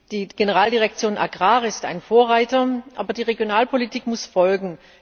Die Generaldirektion AGRI ist ein Vorreiter, aber die Regionalpolitik muss folgen.